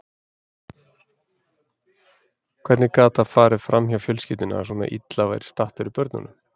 Hvernig gat það farið fram hjá fjölskyldunni að svona illa væri statt fyrir börnunum?